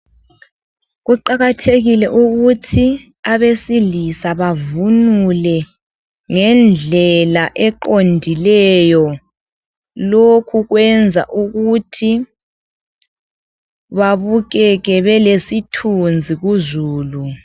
Kuqakathekile ukuthi abesilisa bavunule ngendlela eqondileyo lokhu kwenza ukuthi babukeke belesithunzi kuzulu.